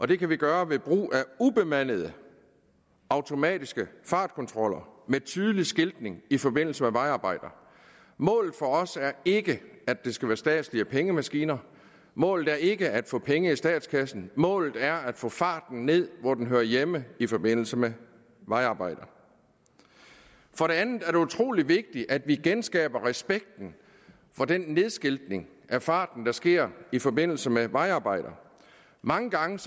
det kan vi gøre ved brug af ubemandede automatiske fartkontroller med tydelig skiltning i forbindelse med vejarbejder målet for os er ikke at det skal være statslige pengemaskiner målet er ikke at få penge i statskassen målet er at få farten ned hvor den hører hjemme i forbindelse med vejarbejder for det andet er det utrolig vigtigt at vi genskaber respekten for den nedskiltning af farten der sker i forbindelse med vejarbejder mange gange